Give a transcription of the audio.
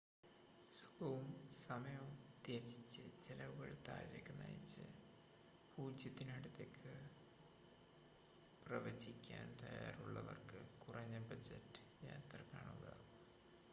സുഖവും സമയവും ത്യജിച്ച് ചെലവുകൾ താഴേക്ക് നയിച്ച് 0 ത്തിന് അടുത്തേക്ക് പ്രവചിക്കാൻ തയ്യാറുള്ളവർക്ക് കുറഞ്ഞ ബജറ്റ് യാത്ര കാണുക